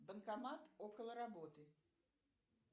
банкомат около работы